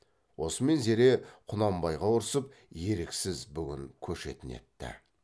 осымен зере құнанбайға ұрсып еріксіз бүгін көшетін етті